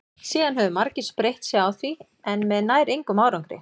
síðan höfðu margir spreytt sig á því en með nær engum árangri